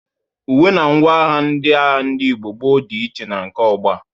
Uwe na ngwa agha ndị agha n'Igbo gboo dịd iche na nke ogbo a.